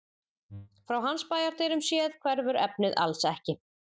Frá hans bæjardyrum séð hverfur efnið alls ekki.